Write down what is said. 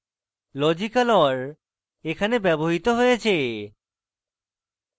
logical or এখানে ব্যবহৃত হয়েছে